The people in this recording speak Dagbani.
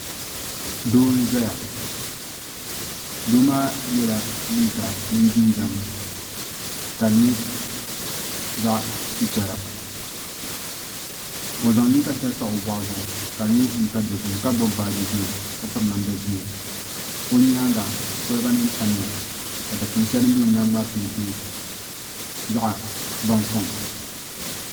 Doo n ʒɛya doo maa yɛla liiga mini jinjɛm ka di nyɛ zaɣ chichɛra o zaŋ liiga shɛli pa o boɣu zuɣu ka di nyɛ liiga dozim ka gbubi baaji ʒiɛ ka piri namda ʒiɛ o nyaanga kolba nim tamya ka dikpuni shɛli din bɛ o nyaangi maa peenti zaɣ baŋkom